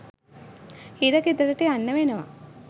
හිරගෙදරට යන්න වෙනවා